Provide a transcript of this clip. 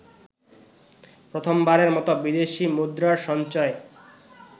প্রথমবারের মত বিদেশি মুদ্রার সঞ্চয়